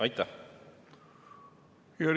Aitäh!